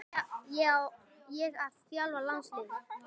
Ég að þjálfa landslið?